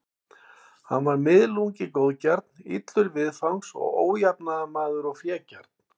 Hann var miðlungi góðgjarn, illur viðfangs og ójafnaðarmaður og fégjarn.